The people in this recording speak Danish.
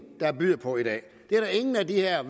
der byder på i dag det er der ingen af de her